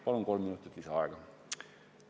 Palun kolm minutit lisaaega!